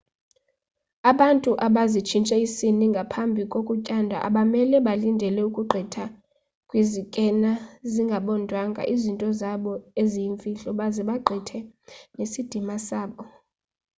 abantu abazitshintshe isini ngaphapi kokutyandwa abamele balindele ukugqitha kwizikena zingabondwanga izinto zabo eziyimfihlo baze bagqithe nesidima sabo